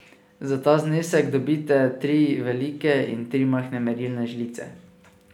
Za ta znesek dobite tri velike in tri majhne merilne žlice.